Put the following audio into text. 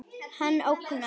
Hann ógnar.